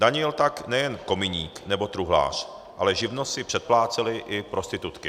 Danil tak nejen kominík nebo truhlář, ale živnost si předplácely i prostitutky.